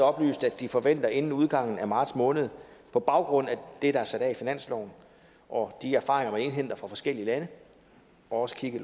oplyste at de forventer inden udgangen af marts måned på baggrund af det der er sat af i finansloven og de erfaringer man indhenter fra forskellige lande og også kigger